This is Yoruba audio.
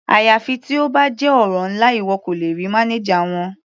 Àyàfi tí ó bá jẹ́ ọ̀rọ̀ ńlá, ìwọ kò lè rí mánájà wọn.